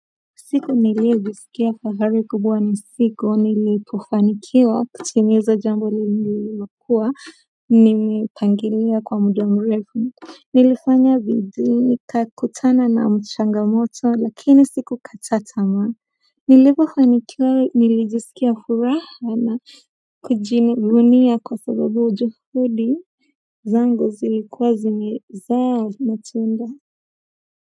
Siku niliyo jisikia fahari kubwa na siku nilipo fanikiwa kutimiza jambo lililokua nimepangilia kwa muda mrefu nilifanya bidii nikakutana na changamoto lakini sikukata tamaa. Nilipofanikiwa nilijisikia furaha na kujivunia kwa sababu juhudi zangu zilikuwa zimezaa matunda.